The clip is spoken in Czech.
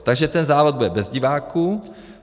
Takže ten závod bude bez diváků.